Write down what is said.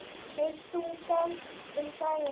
Þær stungu af um daginn.